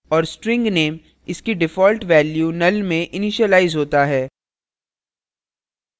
और string name इसकी default value null में इनिशिलाइज होता है